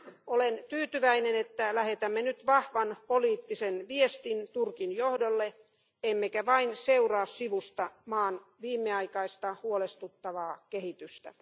Olen tyytyväinen, että lähetämme nyt vahvan poliittisen viestin Turkin johdolle emmekä vain seuraa sivusta maan viimeaikaista huolestuttavaa kehitystä.